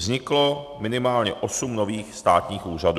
Vzniklo minimálně osm nových státních úřadů.